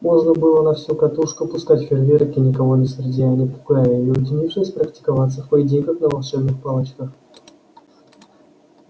можно было на всю катушку пускать фейрверки никого не сердя и не пугая и уединившись практиковаться в поединках на волшебных палочках